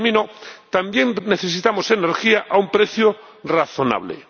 Y también necesitamos energía a un precio razonable.